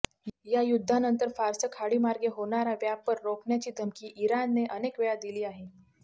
या युद्धानंतर फारस खाडीमार्गे होणारा व्यापर रोखण्याची धमकी इराणने अनेकवेळा दिली आहे